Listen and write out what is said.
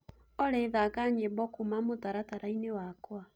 olly thaka nyĩmbo kũũma mũtarataraĩnĩ wakwa